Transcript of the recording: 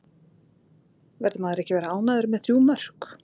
Verður maður ekki að vera ánægður með þrjú mörk?